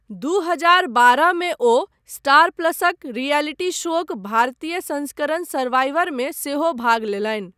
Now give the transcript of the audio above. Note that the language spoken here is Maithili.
दू हजार बारहमे ओ स्टार प्लसक रियलिटी शोक भारतीय संस्करण सर्वाइवरमे सेहो भाग लेलनि।